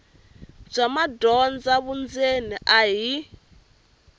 bya madyondza vundzeni a hi